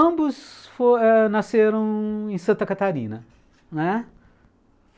Ambos fo nasceram em Santa Catarina.